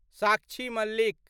Sakshi Malik